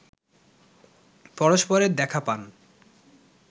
পরস্পরের দেখা পান